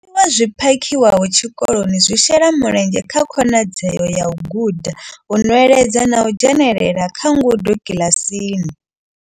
Zwiḽiwa zwi phakhiwaho tshikoloni zwi shela mulenzhe kha khonadzeo ya u guda, u nweledza na u dzhenelela kha ngudo kiḽasini.